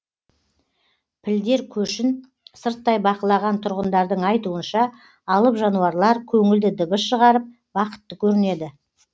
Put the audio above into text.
пілдер көшін сырттай бақылаған тұрғындардың айтуынша алып жануарлар көңілді дыбыс шығарып бақытты көрінеді